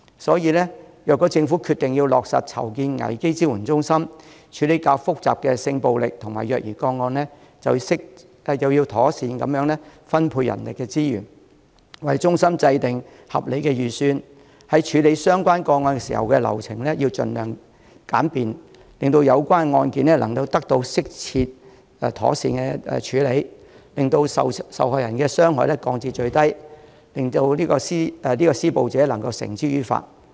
所以，如果政府決定落實籌建危機支援中心，處理較複雜的性暴力和虐兒個案，就要妥善分配人力資源，為中心制訂合理的預算，在處理相關個案時，流程要盡量精簡，令有關案件得到適切妥善的處理，令受害人所受的傷害降至最低，並可將施暴者繩之以法。